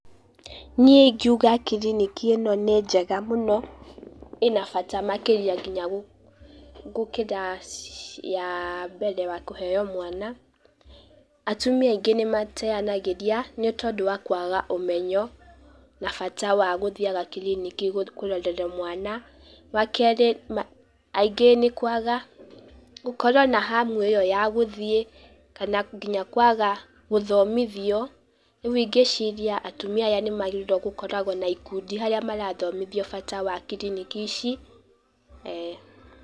Niĩ ingiuga kiriniki ĩno nĩ njega mũno, ĩna bata makĩria nginya gũkĩra cia mbere wa kũheyo mwana, atumia aingĩ nĩ mateyanagĩria, nĩ tondũ wa kwaga ũmenyo, na bata wa gũthiaga kiriniki kũrorerwo mwana, wa kerĩ aingĩ nĩ kwaga gũkorwo na hamu ĩyo ya gũthiĩ kana nginya kwaga gũthomithio, rĩu ingĩciria atumia aya nĩ magĩrĩirwo gũkoragwo na ikundi harĩa marathomithio bata wa kiriniki ici, eeh.